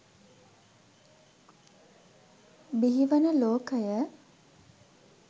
බිහිවන ලෝකය